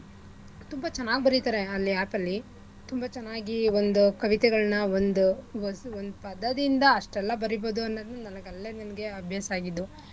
ತುಂಬಾ ಚೆನ್ನಾಗ್ ಬರೀತರೆ ಆ app ಅಲ್ಲಿ ತುಂಬಾ ಚೆನ್ನಾಗಿ ಒಂದು ಕವಿತೆಗಳ್ನ ಒಂದ್ ಹೊಸ್ ಒಂದು ಪದದಿಂದ ಅಷ್ಟೆಲ್ಲಾ ಬರಿಬೋದು ಅನ್ನೋದನ್ ನನಿಗಲ್ಲೆ ನನಿಗೆ ಅಭ್ಯಾಸ ಆಗಿದ್ದು